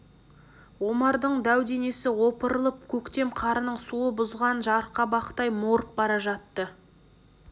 омардың дәу денесі опырылып көктем қарының суы бұзған жарқабақтай морып бара жатты